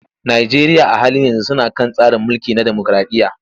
Najeriya a halin yanzu suna kan tsari mulki na demokraɗiyya.